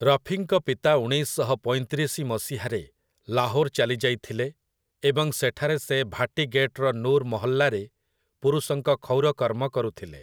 ରଫିଙ୍କ ପିତା ଉଣେଇଶ ଶହ ପଇଁତିରିଶି ମସିହାରେ ଲାହୋର୍ ଚାଲି ଯାଇଥିଲେ ଏବଂ ସେଠାରେ ସେ ଭାଟି ଗେଟ୍‌ର ନୂର୍ ମହଲ୍ଲାରେ ପୁରୁଷଙ୍କ କ୍ଷୌର କର୍ମ କରୁଥିଲେ ।